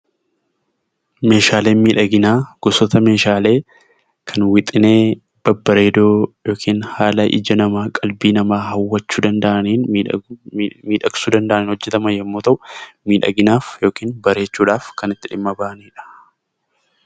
Meeshaaleen miidhaginaa gosoota Meeshaalee kan wixinee babbareedoo yookaan haala qalbii namaa hawwachuu danda'aniin hojjetamuu kan danda'an yoo ta'u, miidhaginaaf yookaan bareechuuf kan dhimma itti baanidha.